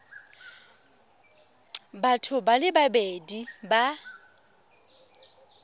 batho ba le babedi ba